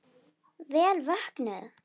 Vel vöknuð!